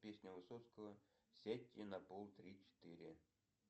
песня высоцкого сядьте на пол три четыре